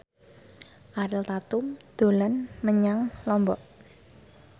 Ariel Tatum dolan menyang Lombok